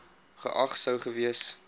geag sou gewees